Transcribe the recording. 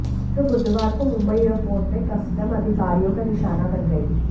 जो बुधवार को मुंबई एयरपोर्टे में कस्टम अधिकारियों का निशाना बन गयीं